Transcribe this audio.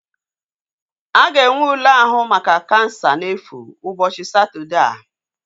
A ga-enwe ule ahụ maka kansa na-efu ụbọchị Satọdee a